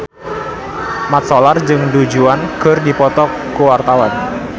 Mat Solar jeung Du Juan keur dipoto ku wartawan